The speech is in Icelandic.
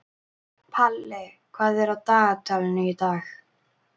Palli, hvað er í dagatalinu í dag?